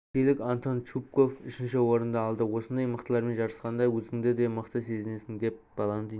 ресейлік антон чупков үшінші орын алды осындай мықтылармен жарысқанда өзіңді де мықты сезінесің деп баландин